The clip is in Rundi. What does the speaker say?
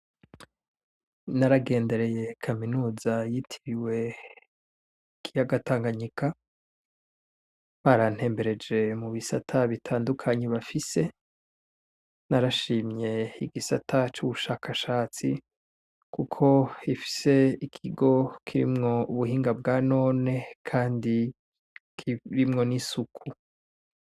Naragendereye kaminuza yitiriwe ikiyaga Tanganyika barantembereje mubisata bitandukanye bafise, narashimye igisata cubushakashatsi kuko gifise ikigo kirimwo ubuhinga bwa none kandi kirimwo n'isuku.